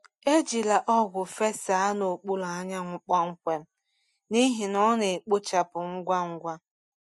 Ejila ọgwụ fesaa n’okpuru anyanwụ kpọmkwem, n’ihi na ọ na-ekpochapụ ngwa ngwa.